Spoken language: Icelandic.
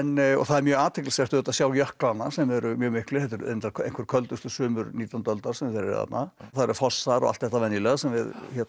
og það er mjög athyglisvert auðvitað að sjá jöklana sem eru mjög miklir þetta eru reyndar einhver köldustu sumur nítjándu aldar sem þeir eru þarna og það eru fossar og allt þetta venjulega sem við